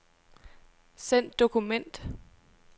Send dokument.